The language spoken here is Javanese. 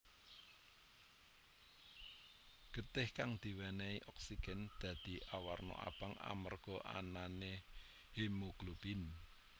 Getih kang diwènèhi oksigen dadi awarna abang amarga anané hemoglobin